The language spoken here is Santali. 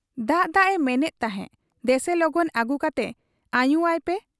ᱫᱟᱜ ᱫᱟᱜ ᱮ ᱢᱮᱱᱮᱫ ᱛᱟᱦᱮᱸ ᱫᱮᱥᱮ ᱞᱚᱜᱚᱱ ᱟᱹᱜᱩ ᱠᱟᱛᱮ ᱟᱹᱧᱩ ᱟᱭ ᱯᱮ ᱾